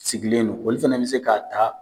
Sigilen don, olu fɛnɛ be se ka taa.